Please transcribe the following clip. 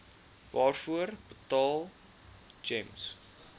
waarvoor betaal gems